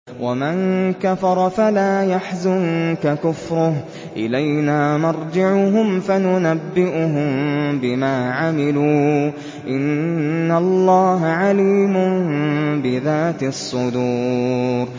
وَمَن كَفَرَ فَلَا يَحْزُنكَ كُفْرُهُ ۚ إِلَيْنَا مَرْجِعُهُمْ فَنُنَبِّئُهُم بِمَا عَمِلُوا ۚ إِنَّ اللَّهَ عَلِيمٌ بِذَاتِ الصُّدُورِ